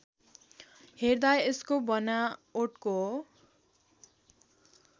हेर्दा यसको बनावटको